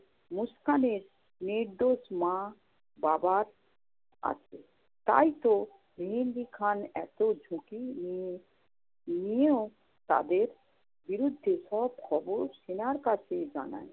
মুস্কানের নির্দোষ মা-বাবার কাছে তাইতো মেহেন্দি খান এত ঝুঁকি নিয়ে~ নিয়েও তাদের বিরুদ্ধে সব খবর সেনার কাছেই জানায়।